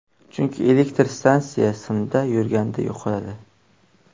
Chunki elektr energiya simda yurganda yo‘qoladi.